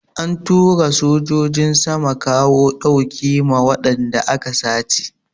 An tura sojojin sama kawo ɗauki ma wadanda aka sace.